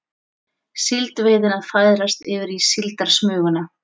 Síldveiðin að færast yfir í síldarsmuguna